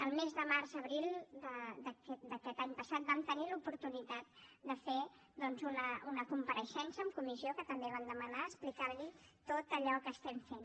el mes de març abril d’aquest any passat vam tenir l’oportunitat de fer doncs una compareixença en comissió que també van demanar explicant li tot allò que estem fent